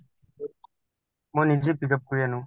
মই নিজে pick up কৰি আনো